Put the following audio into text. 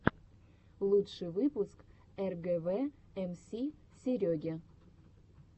лучший выпуск эргэвэ эмси сереги